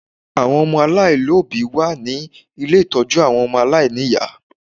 Àwọn ọmọ aláàlóbìí wà ní ilé ìtọ́jú àwọn ọmọ aláìníyá